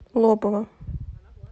лобова